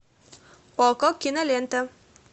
окко кинолента